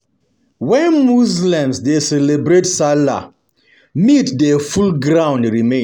When Muslims dey celebrate salah, meat dey full ground remain